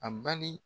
A bali